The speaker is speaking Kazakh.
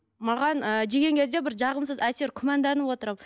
маған ы жеген кезде бір жағымсыз әсер күмәнданып отырамын